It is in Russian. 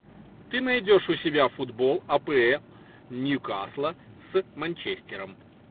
ты найдешь у себя футбол апл ньюкасла с манчестером